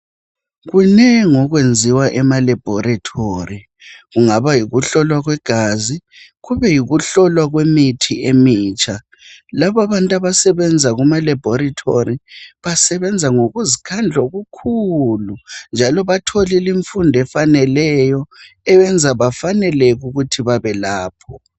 Kunengi okwenziwa emalebhorithori kungaba yikuhlolwa kwegazi kube yikuhlolwa kwemithi emitsha. Labo abantu abasebenza emalebhorithori basebenza ngokuzikhandla okukhulu njalo batholile imfundo efaneleyo eyenza befaneleke ukuthi babelapho.